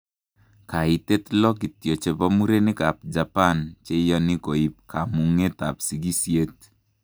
Kaitet 6 kityo chebo murenik ab Japan cheyani koib kamungetab sikisyeet